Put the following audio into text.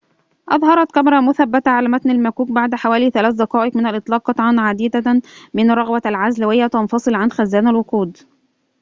أظهرت كاميرا مثبتة على متن المكوك بعد حوالي 3 دقائق من الإطلاق قطعاً عديدة من رغوة العزل وهي تنفصل عن خزان الوقود